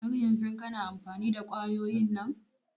Har yanzun kana amfani da kwayoyin nan?